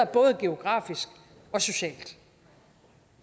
både geografisk og socialt